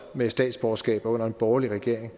med statsborgerskaber under en borgerlig regering